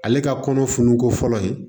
Ale ka kɔnɔ fununko fɔlɔ ye